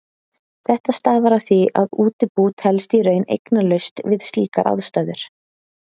Þetta stafar af því að útibú telst í raun eignalaust við slíkar aðstæður.